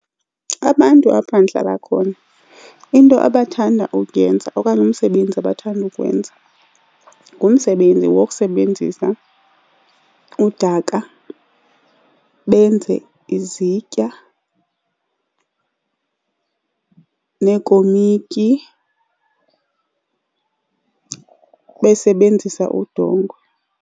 Abantu apha ndihlala khona into abathanda ukuyenza okanye umsebenzi abathanda ukuwenza ngumsebenzi wokusebenzisa udaka, benze izitya neekomityi besebenzisa udongwe.